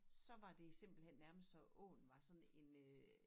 Så var det simpelthen nærmest så åen var sådan en øh